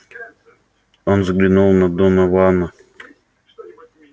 он взглянул на донована